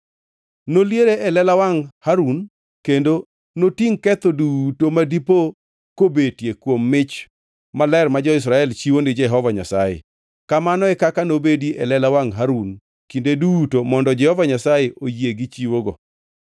Noliere e lela wangʼ Harun kendo notingʼ ketho duto ma dipo kobetie kuom mich maler ma jo-Israel chiwo ni Jehova Nyasaye. Kamano e kaka nobedi e lela wangʼ Harun kinde duto mondo Jehova Nyasaye oyie gi chiwogo.